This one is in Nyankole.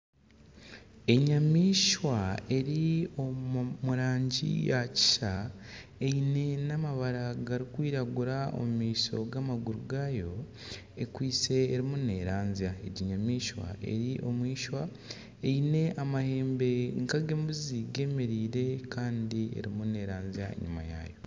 Enyamaishwa eri omu rangi ya kisa, eine n'amabara garikwiragura omu maisho g'amaguru gaayo. Ekwitse erimu neeranzya. Egi nyamaishwa eri omwishwa eine amahembe nk'ag'embuzi gemereire kandi erimu neeranzya enyima yaayo.